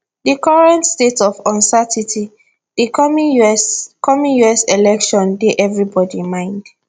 di current state of uncertainty di coming us coming us election dey everybody mind